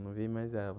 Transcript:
Eu não vi mais ela.